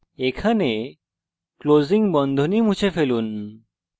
এখানে closing বন্ধনী মুছে ফেলুন